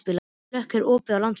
Hlökk, er opið í Landsbankanum?